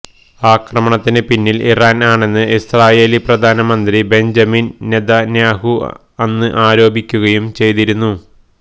ആക്രമണത്തിന് പിന്നില് ഇറാന് ആണെന്ന് ഇസ്രയേലി പ്രധാനമന്ത്രി ബെഞ്ചമിന് നെതന്യാഹൂ അന്ന് ആരോപിക്കുകയും ചെയ്തിരുന്നു